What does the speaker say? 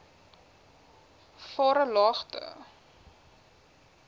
varelagte